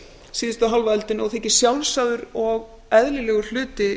síðustu hálfa öldina og þykir sjálfsagður og eðlilegur hluti